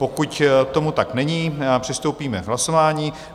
Pokud tomu tak není, přistoupíme k hlasování.